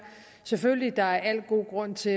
selvfølgelig at der er al mulig grund til